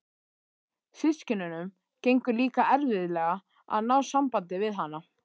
Systkinunum gengur líka erfiðlega að ná sambandi við hana.